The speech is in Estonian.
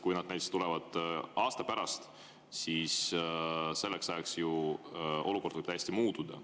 Kui need tulevad näiteks aasta pärast, siis selleks ajaks võib ju olukord olla täiesti muutunud.